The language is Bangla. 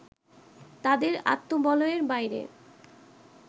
তাঁদের আত্মবলয়ের বাইরে